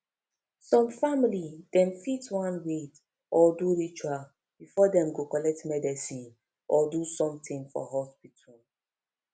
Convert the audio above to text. some family dem fit want wait or do ritual before dem go collect medicine or do sumtin for hospital